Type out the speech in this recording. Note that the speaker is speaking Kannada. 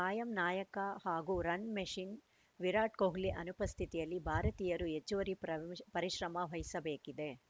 ಕಾಯಂ ನಾಯಕ ಹಾಗೂ ರನ್‌ ಮಷಿನ್‌ ವಿರಾಟ್‌ ಕೊಹ್ಲಿ ಅನುಪಸ್ಥಿತಿಯಲ್ಲಿ ಭಾರತೀಯರು ಹೆಚ್ಚುವರಿ ಪ್ರ ಪರಿಶ್ರಮ ವಹಿಸಬೇಕಿದೆ